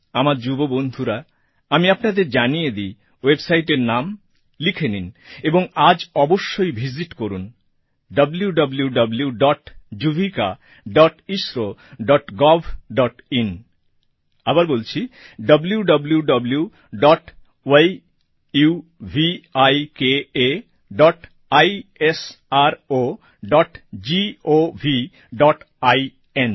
আমার যুব বন্ধুরা আমি আপনাদের জানিয়ে দিই websiteএর নাম লিখে নিন এবং আজ অবশ্যই ভিসিট করুন wwwyuvikaইসরোgovআইএন